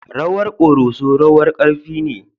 Rawar Koroso rawar ƙarfi ne.